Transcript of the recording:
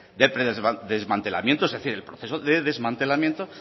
el desmantelamiento es decir el proceso de desmantelamiento